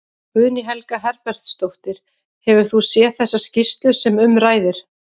Guðný Helga Herbertsdóttir: Hefur þú séð þessa skýrslu sem um ræðir?